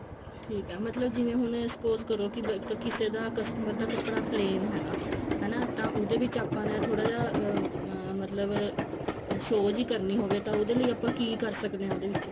ਠੀਕ ਐ ਮਤਲਬ ਜਿਵੇਂ ਹੁਣ suppose ਕਰੋ ਕਿ ਕਿਸੇ ਦਾ customer ਦਾ ਕੱਪੜਾ plain ਹੈਗਾ ਹਨਾ ਤਾਂ ਉਹਦੇ ਵਿੱਚ ਆਪਾਂ ਨੇ ਥੋੜਾ ਜਿਹਾ ਮਤਲਬ show ਵੀ ਕਰਨੀ ਹੋਵੇ ਤਾਂ ਉਹਦੇ ਲਈ ਆਪਾਂ ਕਿ ਕਰ ਸਕਦੇ ਹਾਂ ਉਹਦੇ ਵਿੱਚ